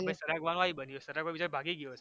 તો પહી સરગવાનું આવી બન્યુ સરગવો બીચારો ભાંગી ગયો હશે